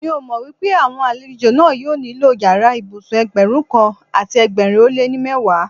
Mi ò mọ pé àwọn àlejò náà yóò nílò yàrá ìbùsùn Ẹgbẹ̀rún kan àti ẹgbẹ̀rin ó lé ní mẹ́wàá.